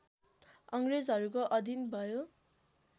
अङ्ग्रेजहरूको अधीन भयो